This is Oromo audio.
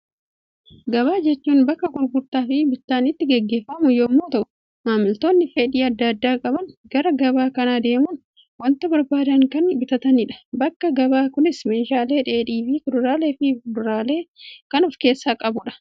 Gabaa jechuun bakka gurgurtaa fi bittaan itti gaggeeffamu yemmuu ta'u, maamiltoonni fedhii addaa addaa qaban gara gabaa kanaa deemuun, waanta barbaadan kan bitatanidha. Bakki gabaa kunis meeshaalee dheedhii fi kuduraalee fi fuduraalee kan of keessaa qabudha.